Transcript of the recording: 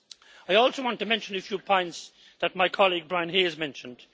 I also want to mention a few points that my colleague Brian Hayes mentioned.